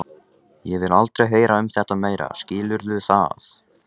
Ég vil aldrei heyra um þetta meira, skilurðu það?